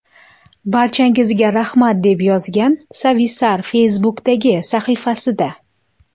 Barchangizga rahmat!” deb yozgan Savisaar Facebook’dagi sahifasida.